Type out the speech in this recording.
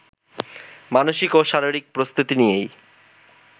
মানসিক ও শারীরিক প্রস্তুতি নিয়েই